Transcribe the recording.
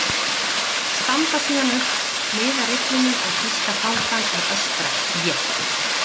Standa síðan upp, miða rifflinum á þýska fangann og öskra: Éttu!